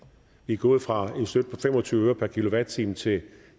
vi er gået fra en støtte til og tyve øre per kilowatt time til